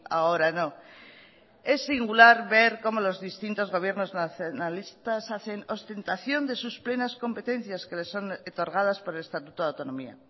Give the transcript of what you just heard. ahora no es singular ver cómo los distintos gobierno nacionalistas hacen ostentación de sus plenas competencias que le son otorgadas por el estatuto de autonomía